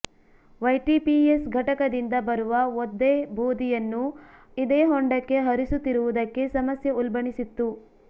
YTPS ಘಟಕದಿಂದ ಬರುವ ಒದ್ದೆ ಬೂದಿಯನ್ನೂ ಇದೇ ಹೊಂಡಕ್ಕೆ ಹರಿಸುತ್ತಿರುವುದಕ್ಕೆ ಸಮಸ್ಯೆ ಉಲ್ಬಣಿ ಸಿತ್ತು